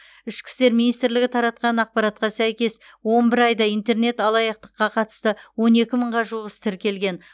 ішкі істер министрлігі таратқан ақпаратқа сәйкес он бір айда интернет алаяқтыққа қатысты он екі мыңға жуық іс тіркелген